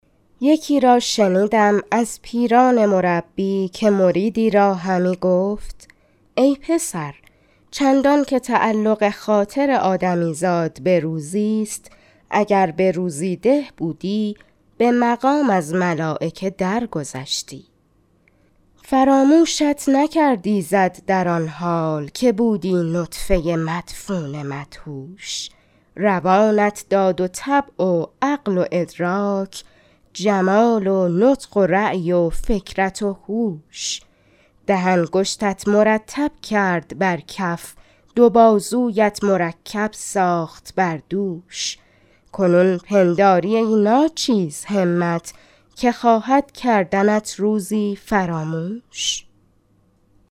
یکی را شنیدم از پیران مربی که مریدی را همی گفت ای پسر چندان که تعلق خاطر آدمی زاد به روزی ست اگر به روزی ده بودی به مقام از ملایکه در گذشتی فراموشت نکرد ایزد در آن حال که بودی نطفه مدفون و مدهوش روانت داد و طبع و عقل و ادراک جمال و نطق و رای و فکرت و هوش ده انگشتت مرتب کرد بر کف دو بازویت مرکب ساخت بر دوش کنون پنداری ای ناچیز همت که خواهد کردنت روزی فراموش